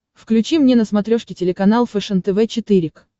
включи мне на смотрешке телеканал фэшен тв четыре к